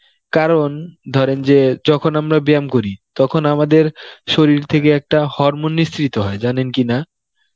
কারণ ধরেন যে যখন আমরা ব্যায়াম করি, তখন আমাদের শরীর থেকে একটা hormone নিসৃত হয় জানেন কি না